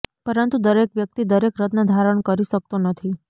પરંતુ દરેક વ્યક્તિ દરેક રત્ન ધારણ કરી શકતો નથી